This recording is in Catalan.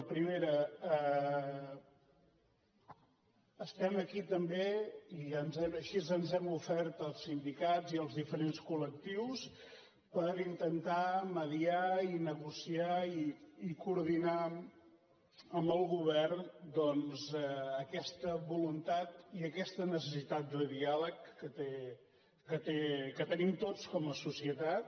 la primera estem aquí també i així ens hem ofert als sindicats i als diferents col·lectius per intentar mediar i negociar i coordinar amb el govern doncs aquesta voluntat i aquesta necessitat de diàleg que tenim tots com a societat